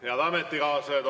Head ametikaaslased!